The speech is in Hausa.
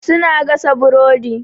Su na gasa burodi.